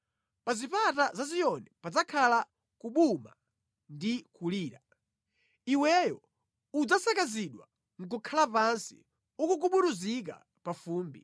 Pa zipata za Ziyoni padzakhala kubuma ndi kulira; Iweyo udzasakazidwa nʼkukhala pansi, ukugubuduzika pa fumbi.